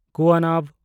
ᱠᱩᱣᱟᱱᱟᱵᱷ